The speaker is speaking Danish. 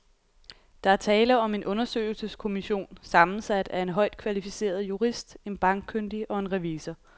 Der er tale om en undersøgelseskommission sammensat af en højt kvalificeret jurist, en bankkyndig og en revisor.